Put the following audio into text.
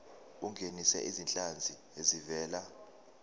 ungenise izinhlanzi ezivela